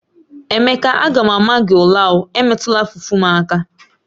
Emeke a ga m ama gi ula o, emetula fufu m aka!